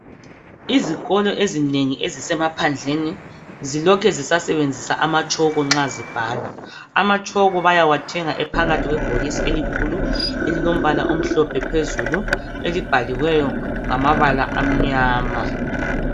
Izikolo ezinengi ezisemaphandleni zilokhe zisasebenzisa amatshoko nxa zibhala. Amatshoko bayawathenga ephakathi kwebhokisi elikhulu elilombala omhlophe phezulu, elibhaliweyo ngamabala amnyama.